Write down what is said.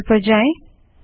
terminal पर जाएँ